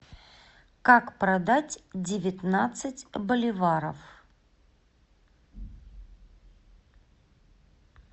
как продать девятнадцать боливаров